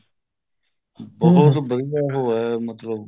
ਬਹੁਤ ਵਧੀਆ ਉਹ ਹੈ ਮਤਲਬ